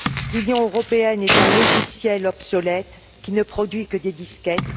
L'Union européenne est un logiciel obsolète qui ne produit que des disquettes.